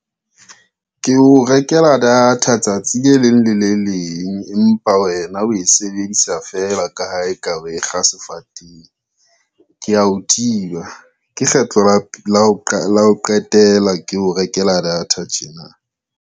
Ke o rekela data tsatsi le leng le le leng empa wena we sebedisa fela ka ha eka oe kga sefateng, ke ya o thiba ke kgetlo la ho qetela ke o rekela data tjena.